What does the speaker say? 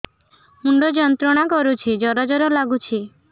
ମୁଣ୍ଡ ଯନ୍ତ୍ରଣା କରୁଛି ଜର ଜର ଲାଗୁଛି